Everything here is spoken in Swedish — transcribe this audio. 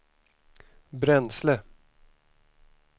bränsle